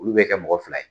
Olu bɛ kɛ mɔgɔ fila ye